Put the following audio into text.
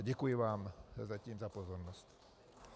A děkuji vám zatím za pozornost.